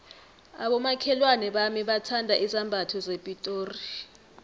abomakhelwana bami bathanda izambatho zepitori